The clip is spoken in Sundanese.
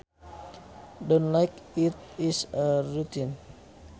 Done like it is a routine